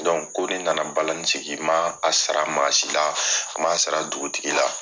ko de nana balani sigi, ma a sara maasi la, a ma sara dugutigi la